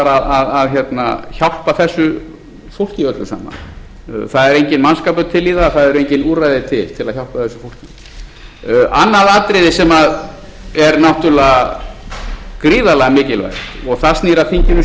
að hjálpa þessu fólki öllu saman það er enginn mannskapur til í það það eru engin úrræði til til að hjálpa þessu fólki annað atriði sem er náttúrlega gríðarlega mikilvægt og það snýr að þinginu sjálfu